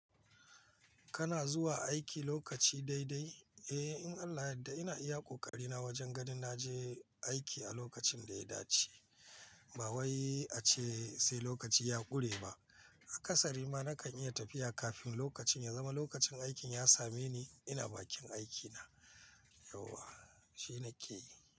Kana zuwa aiki lokaci daidai? Eh, in Allah yadda ina iya ƙoƙari na wajen gadin na je aiki a lokacin da ya dace. Ba wai ace sai lokaci ya ƙure ba. A ƙasarima nakan iya tafiya kafin lokacin ya zama lokacin aikin ya same ni ina bakin aikina. Yauwa, shi na ke yi.